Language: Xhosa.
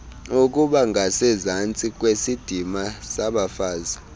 ukubangasezantsi kwesidima sabafazi